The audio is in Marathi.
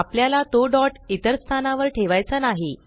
आपल्याला तो डॉट इतर स्थानावर ठेवायचा नाही